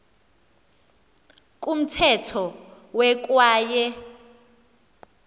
kumthetho we kwaye